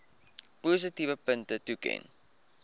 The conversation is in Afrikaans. positiewe punte toeken